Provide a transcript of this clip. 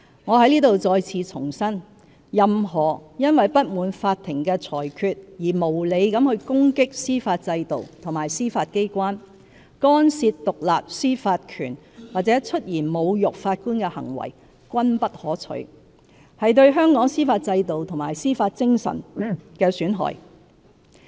我在此再次重申，任何因不滿法庭的裁決而無理攻擊司法制度和司法機關、干涉獨立司法權或出言侮辱法官的行為均不可取，是對香港司法制度和司法精神的損害。